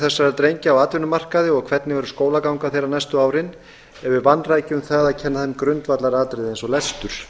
þessara drengja á atvinnumarkaði og hvernig verður skólaganga þeirra næstu árin ef við vanrækjum það að kenna þeim grundvallaratriði eins og lestur